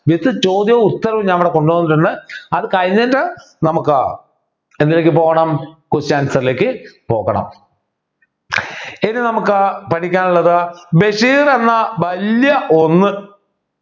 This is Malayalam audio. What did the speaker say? with ചോദ്യവും ഉത്തരവും ഞാനിവിടെ കൊണ്ടുവന്നിട്ടുണ്ട് അത് കഴിഞ്ഞിട്ട് നമുക്ക് എന്തിലേക്ക് പോകണം question answer ലേക്ക് പോകണം ഇനി നമുക്ക് പഠിക്കാനുള്ളത് ബഷീർ എന്ന വല്യ ഒന്ന്